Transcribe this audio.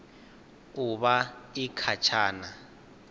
u vha i kha tshana